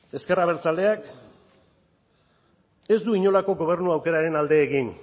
ezker abertzaleak ez du inolako gobernu aukeraren alde egin